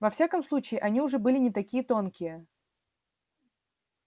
во всяком случае они уже были не такие тонкие